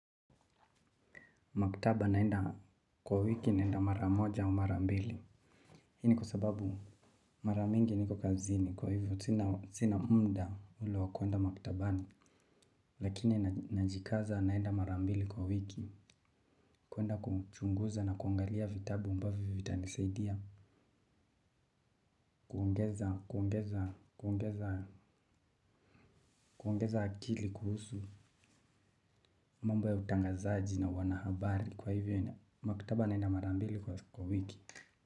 Maktaba naenda kwa wiki naenda mara moja au mara mbili. Hii ni kwa sababu mara mingi niko kazini kwa hivyo sina muda ule wakuenda maktabani. Lakini najikaza naenda mara mbili kwa wiki. Kwenda kuchunguza na kuangalia vitabu ambavyo vitanisaidia. Kuongeza akili kuhusu mambo ya utangazaji na uanahabari kwa hivyo. Makutaba naenda mara mbili kwa wiki.